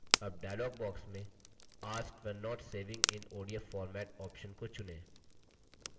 अब dialog box में ask when not saving in odf format option को चुनें